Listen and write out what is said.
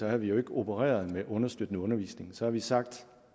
havde vi jo ikke opereret med understøttende undervisning så havde vi sagt